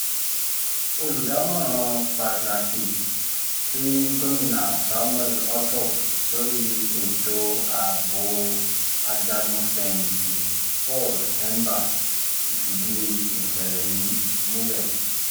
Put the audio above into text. olùdámọ̀ràn pàtàkì sí gomina samuel ortom lórí ètò ààbò ajagun-fẹ̀yìntì paul hemba ti fìdí ìṣẹ̀lẹ̀ yìí múlẹ̀